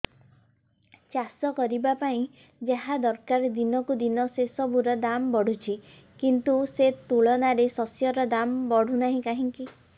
ଚାଷ କରିବା ପାଇଁ ଯାହା ଦରକାର ଦିନକୁ ଦିନ ସେସବୁ ର ଦାମ୍ ବଢୁଛି କିନ୍ତୁ ସେ ତୁଳନାରେ ଶସ୍ୟର ଦାମ୍ ବଢୁନାହିଁ କାହିଁକି